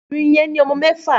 Níjẹ́ o kòrín fún ọmọ lánà?